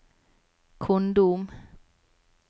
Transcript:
kondom